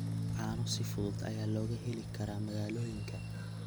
Caano si fudud ayaa looga heli karaa magaalooyinka.